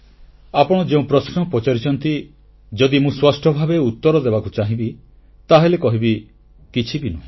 ଆପଣ ଯେଉଁ ପ୍ରଶ୍ନ ପଚାରିଛନ୍ତି ଯଦି ମୁଁ ସ୍ପଷ୍ଟଭାବେ ଉତ୍ତର ଦେବାକୁ ଚାହିଁବି ତାହେଲେ କହିବି କିଛି ବି ନୁହେଁ